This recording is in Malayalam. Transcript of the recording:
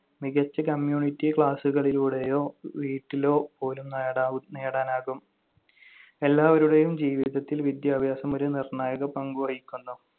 മികച്ച community class കളിലൂടെയോ വീട്ടിലോ പോലും നേടാവും~ നേടാനാകും. എല്ലാവരുടെയും ജീവിതത്തിൽ വിദ്യാഭ്യാസം ഒരു നിർണായക പങ്ക് വഹിക്കുന്നു.